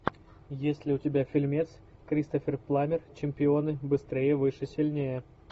есть ли у тебя фильмец кристофер пламмер чемпионы быстрее выше сильнее